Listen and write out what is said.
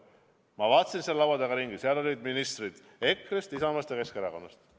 Ma vaatasin, seal laua taga olid ministrid EKRE-st, Isamaast ja Keskerakonnast.